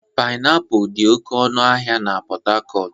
Pịnapụl dị oke ọnụ n'ahịa Pot Tarcot.